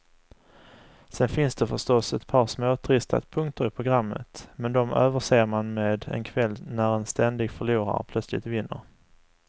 Sen finns det förstås ett par småtrista punkter i programmet, men de överser man med en kväll när en ständig förlorare plötsligt vinner.